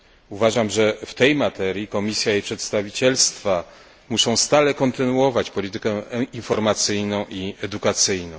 Uważam, że w tej materii Komisja i przedstawicielstwa muszą stale kontynuować politykę informacyjną i edukacyjną.